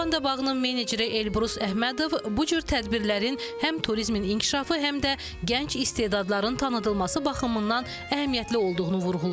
Lavandanın meneceri Elbrus Əhmədov bu cür tədbirlərin həm turizmin inkişafı, həm də gənc istedadların tanıdılması baxımından əhəmiyyətli olduğunu vurğulayır.